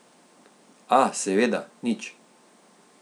A, seveda, nič.